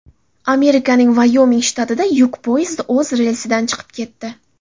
Amerikaning Vayoming shtatida yuk poyezdi o‘z relsidan chiqib ketdi.